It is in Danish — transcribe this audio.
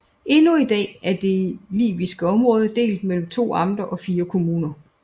Endnu i dag er det liviske område delt mellem to amter og 4 kommuner